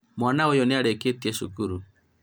mwana ũyũ nĩ arĩkĩtie cukuru